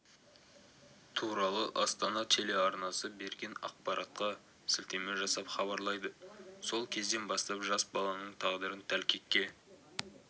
туралы астана телеарнасы берген ақпарартқа сілтеме жасап хабарлайды сол кезден бастап жас баланың тағдырын тәлкекке